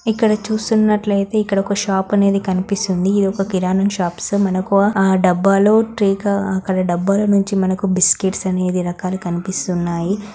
ఇక్కడ చూస్తున్నట్లయితే ఇక్కడ ఒక షాప్ అనేది కనిపిస్తుంది ఇది ఒక కిరాణం షాప్స్ మనకు ఆ డబ్బాలో అక్కడ డబ్బాలో నుంచి మనకి బిస్కట్స్ అనేది రకాలు కనిపిస్తున్నాయి.